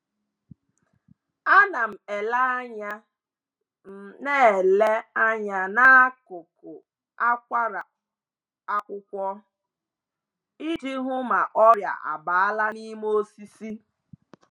A na m ele anya m ele anya n’akụkụ akwara akwụkwọ iji hụ ma ọrịa abala n’ime osisi